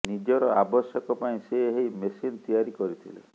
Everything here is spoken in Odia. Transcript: ନିଜର ଆବଶ୍ୟକ ପାଇଁ ସେ ଏହି ମେସିନ ତିଆରି କରିଥିଲେ